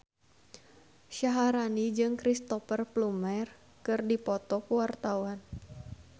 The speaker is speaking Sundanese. Syaharani jeung Cristhoper Plumer keur dipoto ku wartawan